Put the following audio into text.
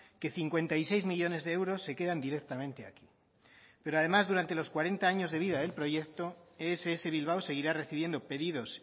que cincuenta y seis millónes de euros se quedan directamente aquí pero además durante los cuarenta años de vida del proyecto ess bilbao seguirá recibiendo pedidos